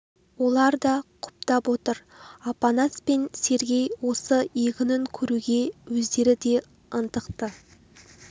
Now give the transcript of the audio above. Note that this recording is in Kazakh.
олар да құптап отыр апанас пен сергей осы егінін көруге өздері де ынтықты